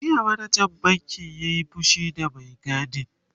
jiya manajan bankin ya Yi fushi da Mai gadin